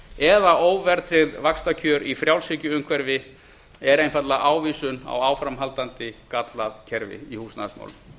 eða óverðtryggð vaxtakjör í frjálshyggjuumhverfi er einfaldlega ávísun á áframhaldandi gallað kerfi í húsnæðismálum